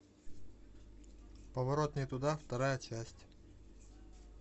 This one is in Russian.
поворот не туда вторая часть